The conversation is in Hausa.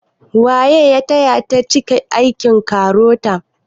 Waye ya taya ta cike aikin KAROTA?